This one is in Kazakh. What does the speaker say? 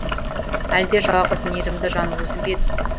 әлде жалғыз мейірімді жан өзің бе едің